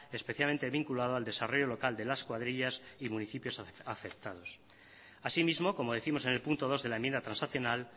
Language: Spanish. especialmente vinculado al desarrollo local de las cuadrillas y municipios afectados asimismo como décimos en el punto dos de la enmienda transaccional